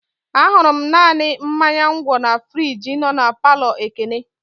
Ahụrụ m naanị mmanya ngwo na friji nọ na palọ Ekene.